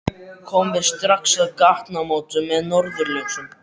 Komum við strax að gatnamótum með norðurljósum